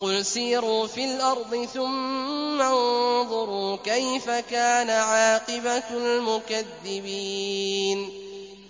قُلْ سِيرُوا فِي الْأَرْضِ ثُمَّ انظُرُوا كَيْفَ كَانَ عَاقِبَةُ الْمُكَذِّبِينَ